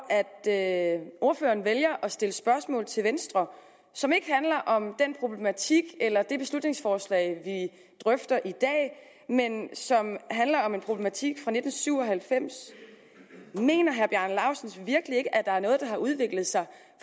at ordføreren vælger at stille spørgsmål til venstre som ikke handler om den problematik eller det beslutningsforslag vi drøfter i dag men som handler om en problematik fra nitten syv og halvfems mener herre bjarne laustsen virkelig ikke at der er noget der har udviklet sig